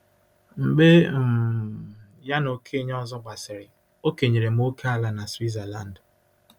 Mgbe um ya na okenye ọzọ gbasịrị, o kenyere m ókèala na Switzerland.